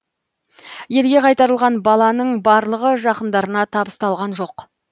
елге қайтарылған баланың барлығы жақындарына табысталған жоқ